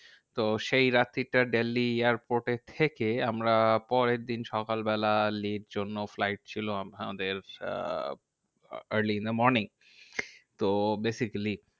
তো সেই রাত্রিটা দিল্লী airport এ থেকে, আমরা পরের দিন সকালবেলা লেহ র জন্য flight ছিল আম~ আমাদের আহ early in the morning. তো basically